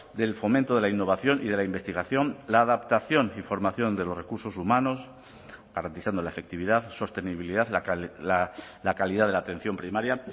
del fomento de la innovación y de la investigación la adaptación y formación de los recursos humanos garantizando la efectividad sostenibilidad la calidad de la atención primaria